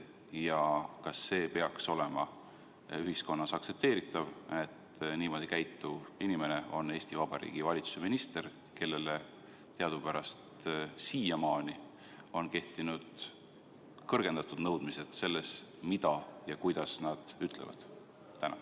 Ja kas see peaks olema ühiskonnas aktsepteeritav, et niimoodi käituv inimene on Eesti Vabariigi valitsuse minister, kellele teadupärast siiamaani on kehtinud kõrgendatud nõudmised selles, mida ja kuidas ta ütleb?